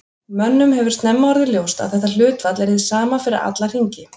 Mönnum hefur snemma orðið ljóst að þetta hlutfall er hið sama fyrir alla hringi.